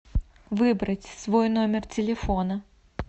выбрать свой номер телефона